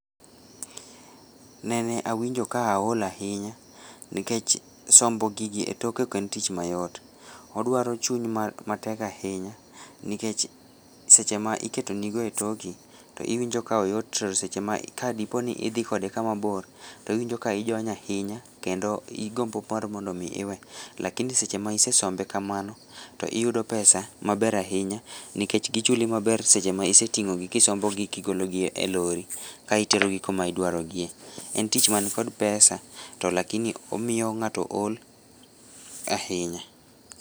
Nene wainji ka aol ahinya, nikech sombo gigi e tok ok en tich mayot, odwaro chiuny matek ahinya nikech sama iketonigo e toki to iwinjo ka oyot to sechema ka dipoo ni idhii kode kamabor, to iwinjo ka ijony ahinya keno igombo paro mondomi iwe lakini sama isesombe kamano, to iyudo pesa maber ahinya, nikech gichuli maber sechema iseting'ogi kisombogi kigologi e lorry, ka iterogi kama idwarogie, en tich man kod pesa to lakini omiyo ng'ato ol ahinya.